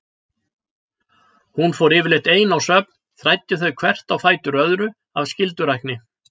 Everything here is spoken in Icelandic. Hún fór yfirleitt ein á söfn, þræddi þau hvert á fætur öðru af skyldurækni.